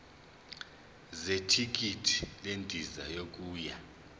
zethikithi lendiza yokuya